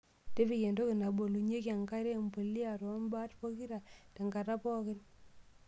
Tipika entoki nabolunyieki enkare empulia too mbat pokira tenkata pookin.